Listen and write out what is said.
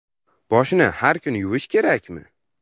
Boshni har kuni yuvish kerakmi?.